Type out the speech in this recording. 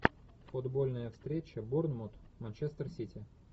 футбольная встреча борнмут манчестер сити